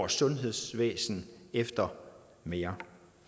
sundhedsvæsenet efter mere